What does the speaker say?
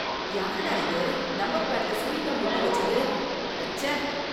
யாருடா இது நம்பர் பேடுல சூயிங் கம் ஒட்டி வச்சது, அடச்சே.